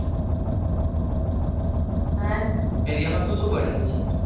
હા area માં માં શું શું બનેલું છે?